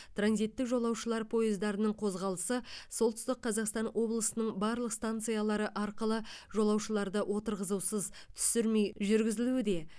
транзиттік жолаушылар пойыздарының қозғалысы солтүстік қазақстан облысының барлық станциялары арқылы жолаушыларды отырғызусыз түсірмей жүргізілуде